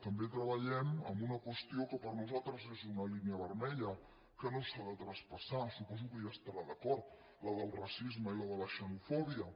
també treballem en una qüestió que per nosaltres és una línia vermella que no s’ha de traspassar suposo que hi estarà d’acord la del racisme i la de la xenofòbia